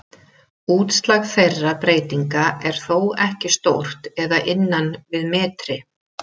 Útslag þeirra breytinga er þó ekki stórt eða innan við metri.